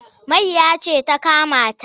Mayya ce ta kama ta.